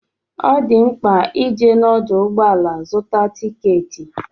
Ọ di mkpa ije n'ọdụ ụgbọala zụta tikeeti.